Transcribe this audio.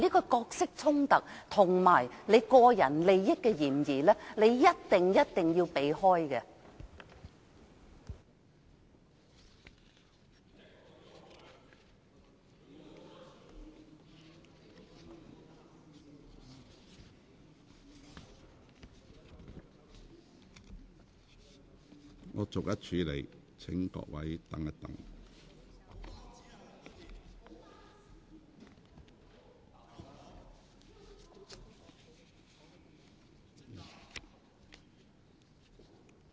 這角色衝突與個人利益的嫌疑，你一定要迴避。